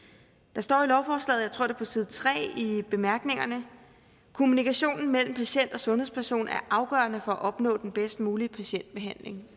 der står i lovforslaget jeg tror det er på side tre i bemærkningerne kommunikationen mellem patient og sundhedsperson er afgørende for at opnå den bedst mulige patientbehandling